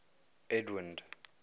edwind